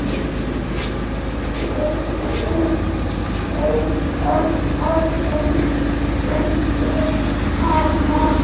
Viltu ýta aðeins undir hana?